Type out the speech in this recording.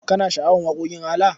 Kana sha'awar waƙoƙin ALA?